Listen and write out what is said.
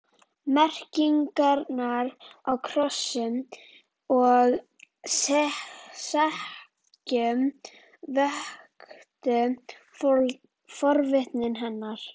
Merkingarnar á kössum og sekkjum vöktu forvitni hennar.